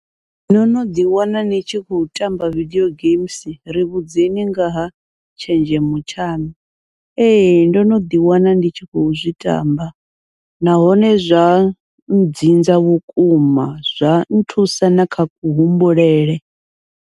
No no ḓi wana ni tshi khou tamba video games ri vhudzekani ngaha tshenzhemo tshaṋu, ee ndo no ḓi wana ndi tshi khou zwi tamba nahone zwa dzinza vhukuma, zwa nthusa na kha kuhumbulele.